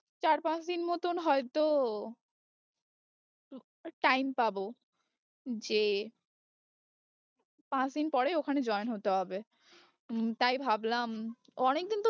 চার পাঁচ দিন মতন হয়তো time পাবো যে পাঁচ দিন পরে ওখানে join হতে হবে হম তাই ভাবলাম অনেকদিন তো তোর